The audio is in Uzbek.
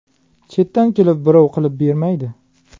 Chetdan kelib birov qilib bermaydi.